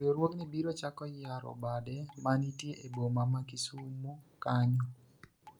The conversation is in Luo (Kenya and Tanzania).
riwruogni biro chako yaro bade manitie e boma ma Kisumo konya